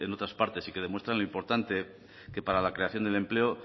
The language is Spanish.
otras partes y que demuestran lo importante que para la creación del empleo